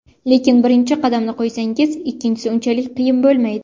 Lekin birinchi qadamni qo‘ysangiz, ikkinchisi unchalik qiyin bo‘lmaydi.